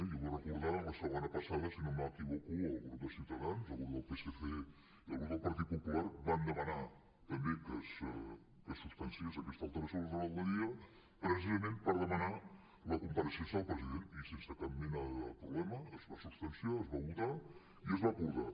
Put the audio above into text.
jo vull recordar la setmana passada si no m’equivoco el grup de ciutadans el grup dels socialistes i el grup del partit popular van demanar també que es substanciés aquesta alteració de l’ordre del dia precisament per demanar la compareixença del president i sense cap mena de problema es va substanciar es va votar i es va acordar